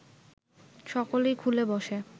সকলেই খুলে বসে